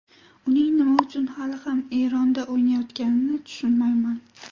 Uning nima uchun hali ham Eronda o‘ynayotganini tushunmayman.